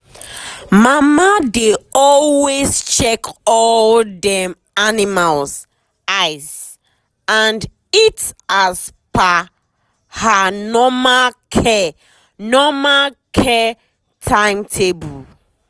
mama dey always check all dem animal eyes and eat as per her normal care normal care timetable.